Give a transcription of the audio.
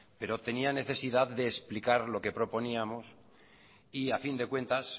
pero tenía necesidad de explicar lo que proponíamos y a fin de cuentas